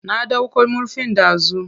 Na ɗauko murfin dazu.